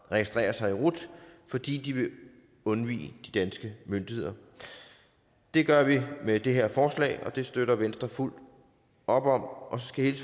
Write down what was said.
registrere sig i rut fordi de vil undvige de danske myndigheder det gør vi med det her forslag og det støtter venstre fuldt op om og